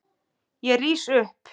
Ég rís upp.